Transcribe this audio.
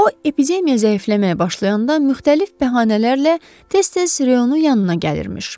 O epidemiya zəifləməyə başlayanda müxtəlif bəhanələrlə tez-tez reyonu yanına gəlirmiş.